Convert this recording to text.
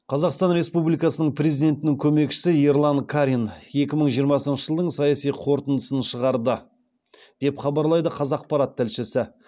қазақстан республикасының президентінің көмекшісі ерлан карин екі мың жиырмасыншы жылдың саяси қорытындысын шығарды деп хабарлайды қазақпарат тілшісі